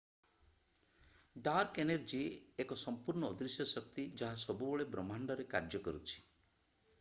dark energy ଏକ ସଂପୂର୍ଣ୍ଣ ଅଦୃଶ୍ୟ ଶକ୍ତି ଯାହା ସବୁବେଳେ ବ୍ରହ୍ମାଣ୍ଡରେ କାର୍ଯ୍ୟ କରୁଛି